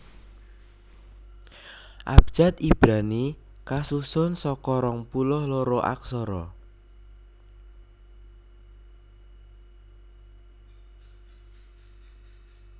Abjad Ibrani kasusun saka rong puluh loro aksara